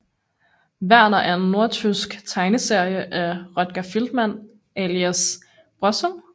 Werner er en nordtysk tegneserie af Rötger Feldmann alias Brösel